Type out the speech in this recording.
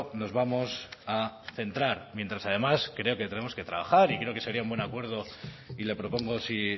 nos vamos a centrar mientras además creo que tenemos que trabajar y creo que sería un buen acuerdo y le propongo si